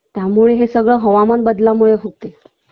त्यामुळे हे सगळं हवामान बदलामुळे होते